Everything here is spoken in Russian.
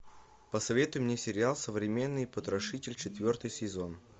посоветуй мне сериал современный потрошитель четвертый сезон